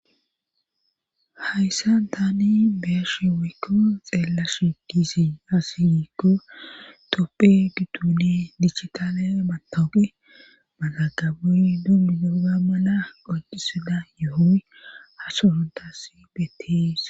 Hayssan tani beeshi wiykko xeella shigisi asiwiikko toppe giduune dichikale matooqe magagabuy dummi dooga mala qoccisida yohoy ha sorontas bettees.